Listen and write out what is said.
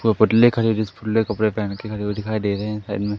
पोपट ले कपड़े पहन के खडे हुए दिखाई दे रहे हैं साइड मे।